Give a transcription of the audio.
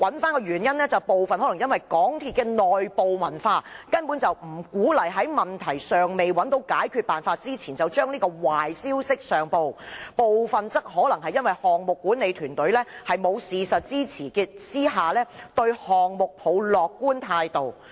究其原因，部分可能是由於港鐵公司的內部文化，不鼓勵在問題尚未找到解決辦法前，把壞消息上報，部分則可能是項目管理團隊在沒有事實支持下，對項目抱樂觀態度。